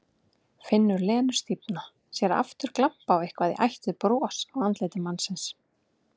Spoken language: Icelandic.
Finnur Lenu stífna, sér aftur glampa á eitthvað í ætt við bros á andliti mannsins.